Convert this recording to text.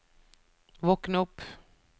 våkn opp